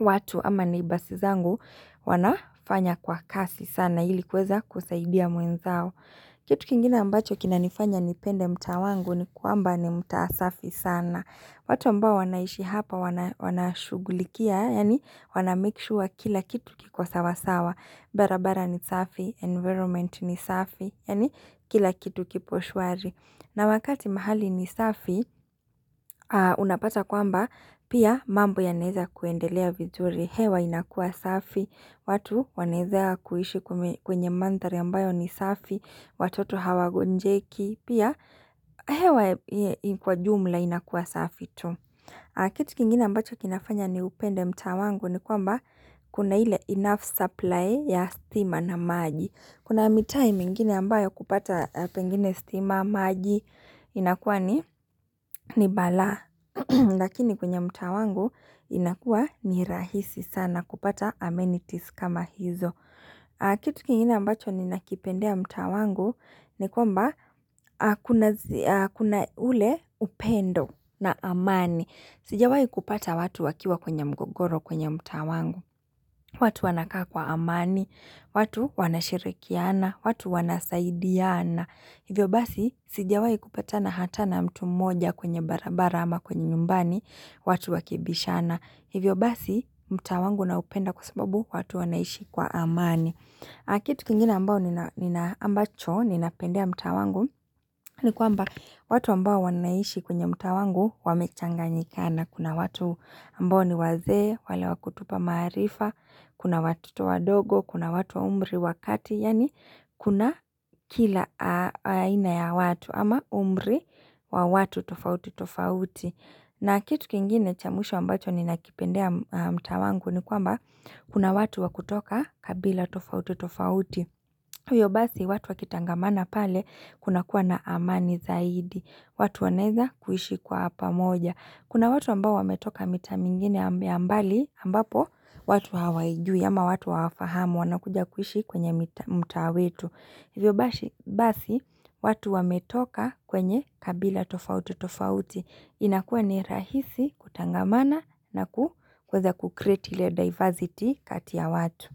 watu ama neighbours zangu wanafanya kwa kasi sana ili kuweza kusaidia mwenzao. Kitu kingine ambacho kinanifanya nipende mta wangu ni kwamba ni mtaa safi sana. Watu ambao wanaishi hapa wanashugulikia, yaani wanamake sure kila kitu kiko sawa sawa. Barabara ni safi, environment ni safi, yaani kila kitu kipo shwari. Na wakati mahali ni safi, unapata kwamba pia mambo yanaweza kuendelea vizuri, hewa inakua safi, watu wanaweze kuishi kwenye mandhari ambayo ni safi, watoto hawagonjeki, pia hewa kwa jumla inakua safi tu. Kitu kingine ambacho kinafanya niupende mtaa wangu ni kwamba kuna ile enough supply ya stima na maji. Kuna mitaa mingine ambayo kupata pengine stima, maji inakuwa ni balaa. Lakini kwenye mta wangu inakuwa ni rahisi sana kupata amenities kama hizo. Kitu kingine ambacho ninakipendea mtaa wangu ni kwamba kuna ule upendo na amani. Sijawai kupata watu wakiwa kwenye mgogoro kwenye mtaa wangu. Watu wanakaa kwa amani, watu wanashirikiana, watu wanasaidiana. Hivyo basi, sijawai kupatana hata na mtu mmoja kwenye barabara ama kwenye nyumbani, watu wakibishana. Hivyo basi mtaa wangu naupenda kwa sababu watu wanaishi kwa amani Kitu kingine ambacho ninapendea mtaa wangu, ni kwamba watu ambao wanaishi kwenye mtaa wangu wamechanganyikana. Kuna watu ambao ni wazee, wale wa kutupa maarifa, kuna watoto wadogo, kuna watu umri wa kati yaani kuna kila aina ya watu ama umri wa watu tofauti tofauti na kitu kingine cha mwisho ambacho ninakipendea mtaa wangu ni kwamba kuna watu wa kutoka kabila tofauti tofauti. Hivyo basi watu wakitangamana pale kunakuwa na amani zaidi. Watu wanaweza kuishi kwa pamoja. Kuna watu ambao wametoka mitaa mingine ya mbali ambapo watu hawaijui ama watu hawafahamu wanakuja kuhishi kwenye mtaa wetu. Huyo basi watu wametoka kwenye kabila tofauti tofauti. Inakuwa ni rahisi kutangamana na kuweza kucreat ile diversity kati ya watu.